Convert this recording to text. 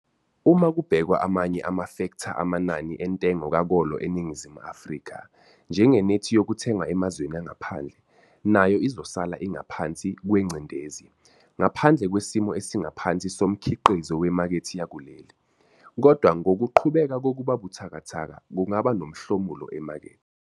Uma kubhekwa amanye amafektha amanani entengo kakolo eNingizimu Afrika, njengenethi yokuthenga emazweni angaphandle, nayo izosala ingaphansi kwengcindezi, ngaphandle kwesimo esingaphansi somkhiqizo wemakethe yakuleli, kodwa ngokuqhubeka kokuba buthakathaka kungaba nomhlomulo emakethe.